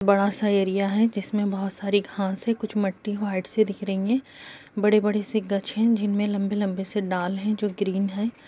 बड़ा सा एरिया है जिसमें बहोत सारी घाँस हैं। कुछ मट्टी वाइट सी दिख रही हैं। बड़े-बड़े से गाच्छ हैं जिनमें लम्बे-लम्बे से डाल हैं जो ग्रीन हैं।